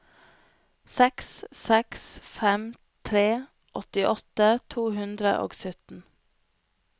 seks seks fem tre åttiåtte to hundre og sytten